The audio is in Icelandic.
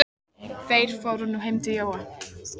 Þeir fóru nú heim til Jóa.